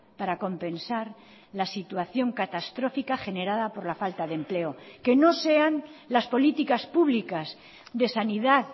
para compensar la situación catastrófica generada por la falta de empleo que no sean las políticas públicas de sanidad